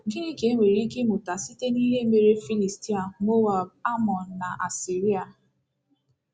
Gịnị ka e nwere ike ịmụta site n’ihe mere Filistia, Moab, Amọn, na Asiria?